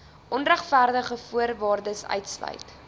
onregverdig voorwaardes uitsluit